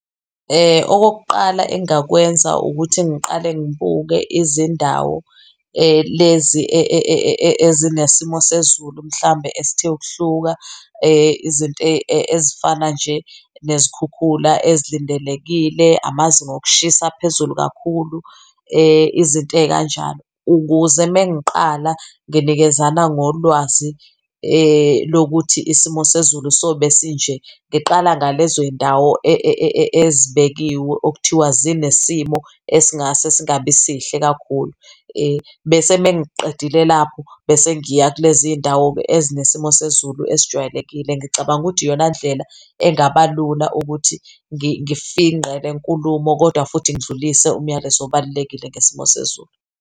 Okokuqala engakwenza ukuthi ngiqale ngibuke izindawo lezi ezinesimo sezulu, mhlawumbe esithe ukuhluka izinto ezifana nje nezikhukhula ezilindelekile, amazinga okushisa aphezulu kakhulu izinto ey'kanjalo, ukuze mengiqala nginikezana ngolwazi lokuthi isimo sezulu sobe sinje. Ngiqala ngalezoy'ndawo ezibekiwe okuthiwa zinesimo esingase singabi sihle kakhulu bese mengiqedile lapho bese ngiya kulezindawo ezinesimo sezulu esijwayelekile. Ngicabanga ukuthi iyona ndlela engaba lula ukuthi ngifingqe le nkulumo, kodwa futhi ngidlulise umyalezo obalulekile ngesimo sezulu.